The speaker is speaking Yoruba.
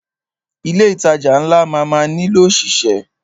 Ilé ìtajà ńlá máa má nílò ọ̀ṣìṣẹ́.